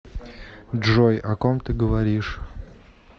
джой о ком ты говоришь